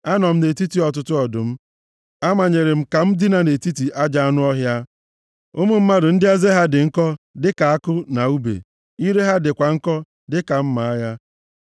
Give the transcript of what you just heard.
Anọ m nʼetiti ọtụtụ ọdụm; amanyere m ka m dina nʼetiti ajọ anụ ọhịa, ụmụ mmadụ ndị eze ha dị nkọ dịka àkụ na ùbe, ire ha dịkwa nkọ dịka mma agha.